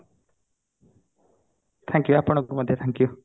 thank you ଆପଣଙ୍କୁ ମଧ୍ୟ thank you